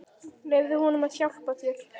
Leyfðu honum að hjálpa þér.